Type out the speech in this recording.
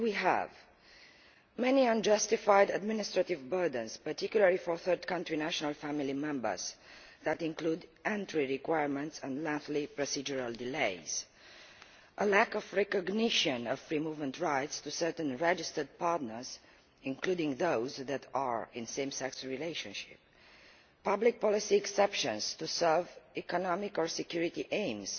There are many unjustified administrative burdens, particularly for third country national family members, which include entry requirements and lengthy procedural delays a lack of recognition of free movement rights for certain registered partners, including those in same sex relationships public policy exceptions to serve economic or security aims